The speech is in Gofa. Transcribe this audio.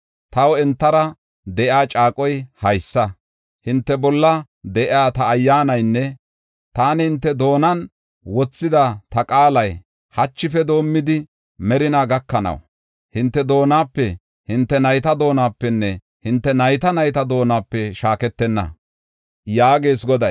Taw entara de7iya caaqoy haysa: hinte bolla de7iya ta Ayyaanaynne taani hinte doonan wothida ta qaalay, hachife doomidi, merinaa gakanaw, hinte doonape, hinte nayta doonapenne hinte nayta nayta doonape shaaketenna” yaagees Goday.